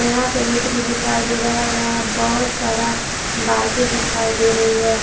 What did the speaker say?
यहां पे ईंट भी दिखाई दे रहा है यहां बहोत सारा बाइके दिखाई दे रहे हैं।